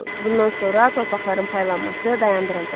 Bundan sonra torpaqların paylanması dayandırıldı.